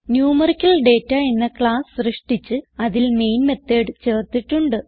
numerical data എന്ന class സൃഷ്ടിച്ച് അതിൽ മെയിൻ മെത്തോട് ചേർത്തിട്ടുണ്ട്